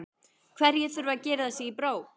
Hverjir þurfa að girða sig í brók?